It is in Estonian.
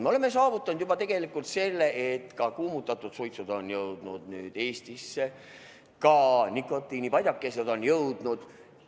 Me oleme saavutanud juba selle, et kuumutatavad tubakatooted on jõudnud Eestisse, ka nikotiinipadjakesed on jõudnud.